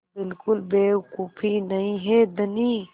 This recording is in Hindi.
बिल्कुल बेवकूफ़ी नहीं है धनी